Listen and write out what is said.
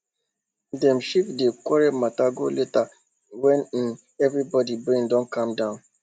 dem shift di quarrel matter go later when um everybody brain don calm down